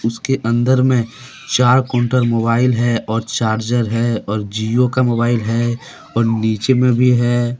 उसके अंदर में चार काउंटर मोबाइल है और चार्जर है और जिओ का मोबाइल है और नीचे में भी है।